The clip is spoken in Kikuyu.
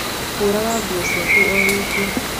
Hũraga nguo ciakwa o wiki.